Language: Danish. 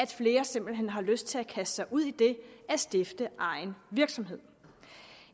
flere simpelt hen har lyst til at kaste sig ud i det at stifte egen virksomhed